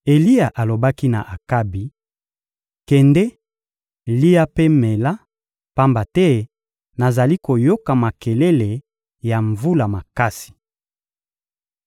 Eliya alobaki na Akabi: — Kende, lia mpe mela, pamba te nazali koyoka makelele ya mvula makasi.